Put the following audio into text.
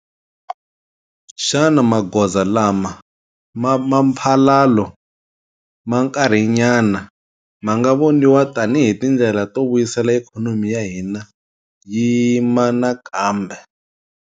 Xana magoza lama ma mphalalo ma nkarhinyana ma nga voniwa tanihi tindlela to vuyisela ikhonomi ya hina yi yima nakambe.